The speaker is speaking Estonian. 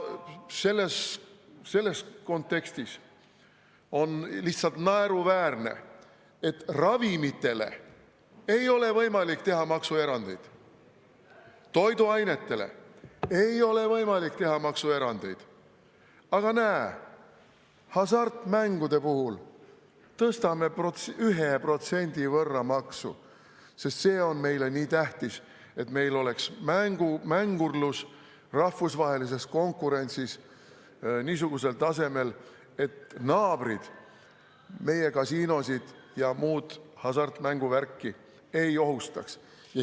Selles kontekstis on lihtsalt naeruväärne, et ravimite puhul ei ole võimalik teha maksuerandeid, toiduainete puhul ei ole võimalik teha maksuerandeid, aga näe, hasartmängude puhul tõstame maksu 1% võrra, sest meile on nii tähtis, et meil oleks mängurlus rahvusvahelises konkurentsis niisugusel tasemel, et naabrid meie kasiinosid ja muud hasartmänguvärki ei ohustaks.